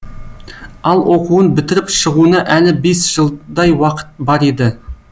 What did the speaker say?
ал оқуын бітіріп шығуына әлі бес жылдай уақыт бар еді